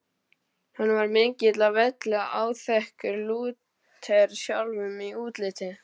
Hann var mikill á velli, áþekkur Lúter sjálfum í útliti.